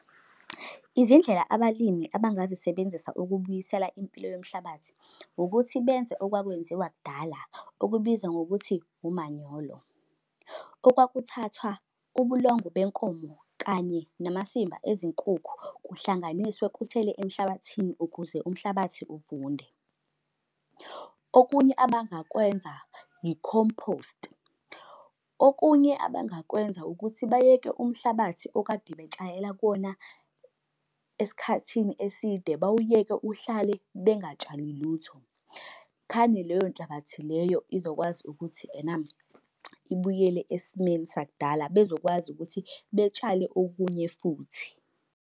Izindlela abalimi abangazisebenzisa ukubuyisela impilo yomhlabathi, ukuthi benze okwakwenziwa kudala okubizwa ngokuthi umanyolo. Okwakuthathwa ubulongwe benkomo kanye namasimba ezinkukhu, kuhlanganiswe kuthelwe emhlabathini ukuze umhlabathi uvunde. Okunye abangakwenza i-compost. Okunye abangakwenza ukuthi bayeke umhlabathi okade betshayela kuwona esikhathini eside bawuyeke uhlale bengatshali lutho. Khane leyo nhlabathi leyo izokwazi ukuthi ena ibuyele esimeni sakudala bezokwazi ukuthi betshale okunye futhi.